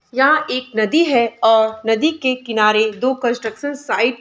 यहाँ एक नदी है और नदी के किनारे दो कंस्ट्रक्शन साइट --